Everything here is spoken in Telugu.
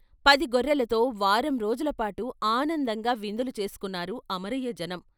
పది గొర్రెలతో వారం రోజుల పాటు ఆనందంగా విందులు చేసుకున్నారు అమరయ్య జనం.